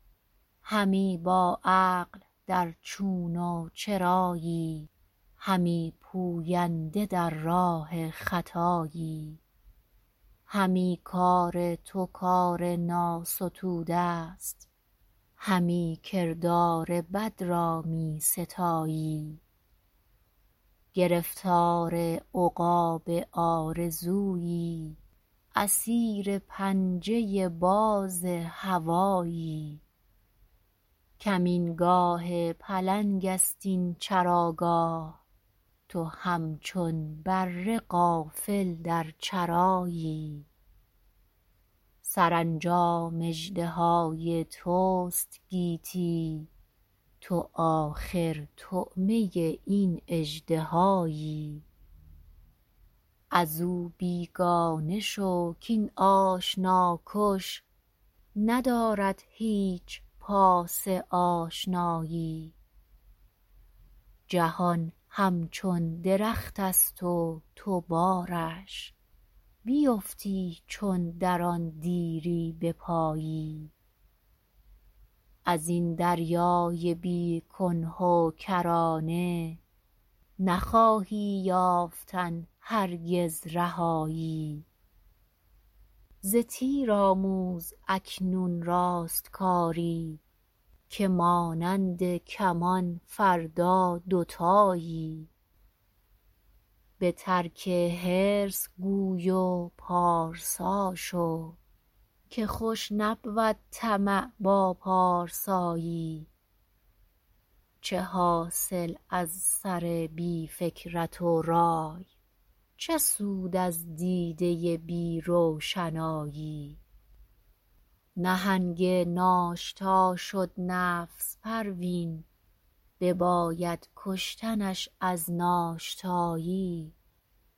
همی با عقل در چون و چرایی همی پوینده در راه خطایی همی کار تو کار ناستوده است همی کردار بد را میستایی گرفتار عقاب آرزویی اسیر پنجه باز هوایی کمین گاه پلنگ است این چراگاه تو همچون بره غافل در چرایی سرانجام اژدهای تست گیتی تو آخر طعمه این اژدهایی ازو بیگانه شو کاین آشنا کش ندارد هیچ پاس آشنایی جهان همچون درختست و تو بارش بیفتی چون در آن دیری بپایی ازین دریای بی کنه و کرانه نخواهی یافتن هرگز رهایی ز تیر آموز اکنون راستکاری که مانند کمان فردا دوتایی بترک حرص گوی و پارسا شو که خوش نبود طمع با پارسایی چه حاصل از سر بی فکرت و رای چه سود از دیده بی روشنایی نهنگ ناشتا شد نفس پروین بباید کشتنش از ناشتایی